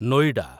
Noida